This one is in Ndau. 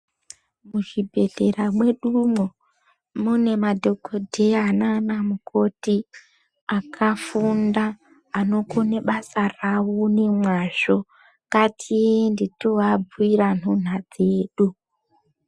Muzvibhendleya mwedumo mune madhokoteya naana mukoti akafunda anokone basa ravo nemwazvo ngatiende tovabhuira nhuna dzedu.